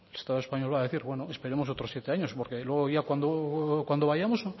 estatu espainolak puede decir bueno esperamos otros siete años porque luego ya cuando vayamos